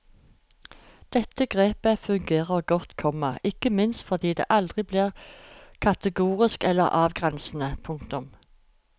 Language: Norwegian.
Dette grepet fungerer godt, komma ikke minst fordi det aldri blir kategorisk eller avgrensende. punktum